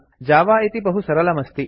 Java इति बहु सरलमस्ति